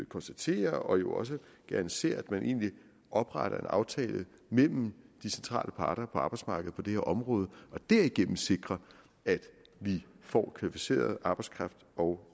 konstaterer og jo også gerne ser at man egentlig opretter en aftale mellem de centrale parter på arbejdsmarkedet på det her område og derigennem sikrer at vi får kvalificeret arbejdskraft og